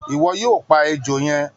Iwọ yoo pa ejo yẹn!